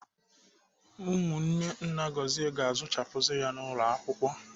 Ụmụnne nna Gọzie ga-azụchapuzi ya n'ụlọ akwụkwọ.